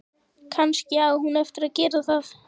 Kannski á hún eftir að gera það.